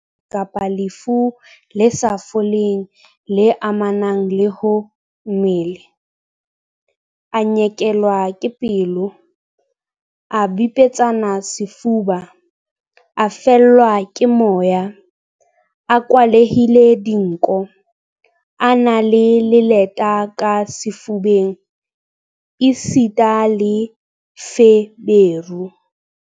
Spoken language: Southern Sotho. Letshweya kapa lefu le sa foleng le amanang le ho mmele, a nyekelwa ke pelo, a bipetsane sefuba, a fellwa ke moya, a kwalehile dinko, a na le leleta ka sefubeng esita le feberu.